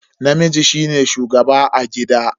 Namiji shine shugaba a gida.